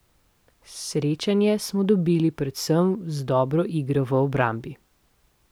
Srečanje smo dobili predvsem z dobro igro v obrambi.